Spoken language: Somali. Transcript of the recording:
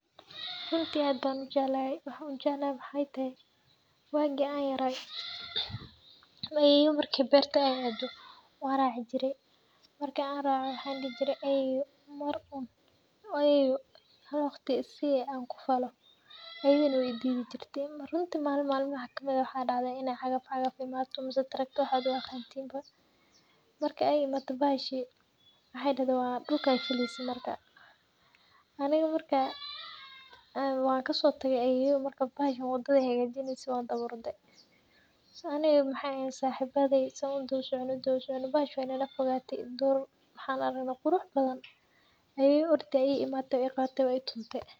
Runti aad ban ujeclaxay, waxa ujeclaxay waxay texee, wagii an yaray , ayeyo markay berta ay adoo wan racii jire, marki an racoo waxan dixijire ayeyo Mar un ayeyo xal wagti isii an kufalo, ayeyo na wa ididhijirte, runti malin malmaxa kamid ah, wa dacdhe inay cagafcagaf imato mise trucker waxad uaqantin ba, marki ay imatee baxashi, waxay daxde waa dulka simeyse marka, anoha marka enn wan kasotage ayeyo, marka baxashan wadadhay xagajineyse, wan dawaa orde, biis ani iyo waxan ehen saxibadeyd saan udawa socone udawa socone, baxashi way nalafogate, duur maaxan aragne qurux badan, ayeyo oo ordi aya iimate, way igabatee way i tumtee.